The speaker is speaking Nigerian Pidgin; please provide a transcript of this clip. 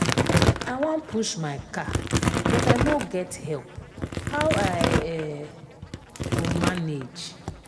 i wan push my car but i no get help how i um go manage?